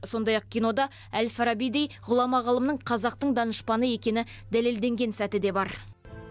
сондай ақ кинода әл фарабидей ғұлама ғалымның қазақтың данышпаны екені дәлелденген сәті де бар